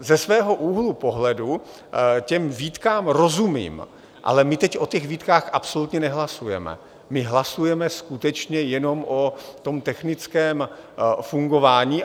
Ze svého úhlu pohledu těm výtkám rozumím, ale my teď o těch výtkách absolutně nehlasujeme, my hlasujeme skutečně jenom o tom technickém fungování.